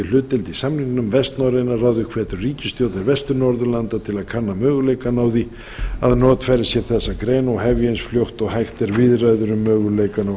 hlutdeild í samningnum vestnorræna ráðið hvetur ríkisstjórnir vestur norðurlanda til að kanna möguleikana á því að notfæra sér þessa grein og hefja eins fljótt og hægt er viðræður